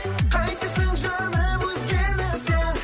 қайтесің жаным өзгені сен